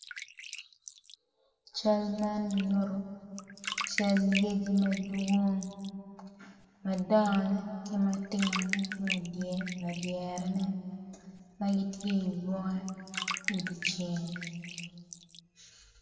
Cal man nyuto cal lyeci madwong madongone ki matinne ki ma ladyerene ma gitye i bunga i dye ceng.